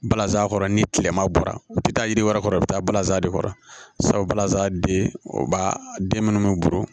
Balazan kɔrɔ ni tilema bɔra u bɛ taa yiri wɛrɛ kɔrɔ i bɛ taa balanzan de kɔrɔ sabu balazan de o b'a den minnu bɛ buru